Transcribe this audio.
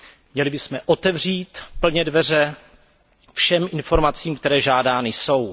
Měli bychom otevřít plně dveře všem informacím, které žádány jsou.